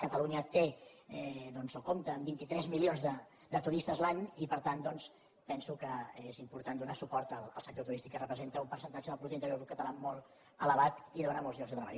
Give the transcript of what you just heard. catalunya té doncs o compta amb vint tres milions de turistes l’any i per tant doncs penso que és important donar suport al sector turístic que representa un percentatge del producte interior brut català molt elevat i dóna molts llocs de treball